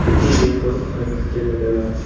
खिड़की --